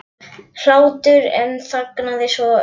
hlátur en þagnaði svo jafn snögglega.